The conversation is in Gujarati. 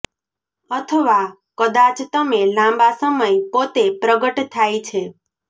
અથવા કદાચ તમે લાંબા સમય પોતે પ્રગટ થાય છે